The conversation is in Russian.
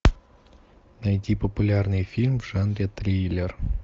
найти популярный фильм в жанре триллер